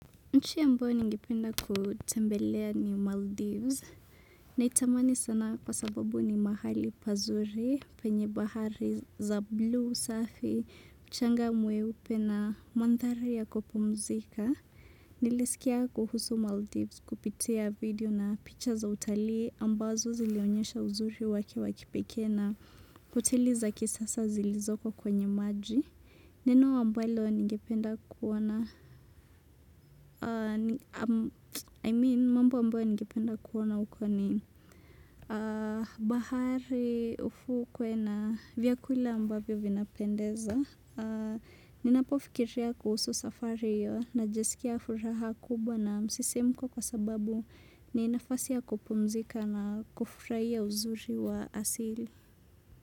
Nchi ambayo ningependa kutembelea ni Maldives. Naitamani sana kwa sababu ni mahali pazuri, penye bahari za blue safi, mchanga mweupe na mandhari ya kupumzika. Nilisikia kuhusu Maldives kupitia video na picha za utali ambazo zilionyesha uzuri wake wa kipekee na hoteli za kisasa zilizoko kwenye maji. Neno ambalo ningependa kuona, I mean mambo ambayo ningependa kuona huko ni bahari ufukwe na vyakula ambavyo vinapendeza. Ninapofikiria kuhusu safari najisikia furaha kubwa na msisimko kwa sababu ni nafasi ya kupumzika na kufurahia uzuri wa asili.